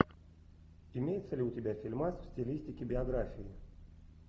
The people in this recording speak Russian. имеется ли у тебя фильмас в стилистике биографии